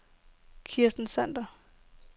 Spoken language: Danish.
Kirsten Sander